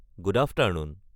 good afternoon